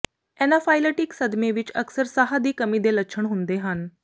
anaphylactic ਸਦਮੇ ਵਿਚ ਅਕਸਰ ਸਾਹ ਦੀ ਕਮੀ ਦੇ ਲੱਛਣ ਹੁੰਦੇ ਹਨ